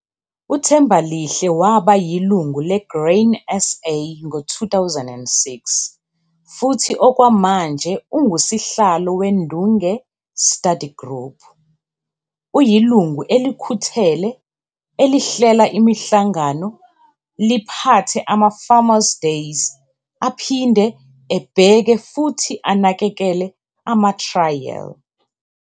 UThembalihle waba yilungu le-Grain SA ngo-2006 futhi okwamanje ungusihlalo weNdunge Study Group. Uyilungu elikhuthele, elihlela imihlangano, liphathe ama-farmers' days aphinde ebheke futhi anakekele ama-thrayeli.